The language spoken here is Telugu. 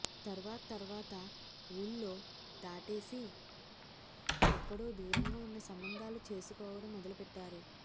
తర్వాతర్వాత ఊళ్ళు దాటేసి ఎక్కడో దూరంగా ఉన్న సంబంధాలు చేసుకోవడం మొదలుపెట్టారు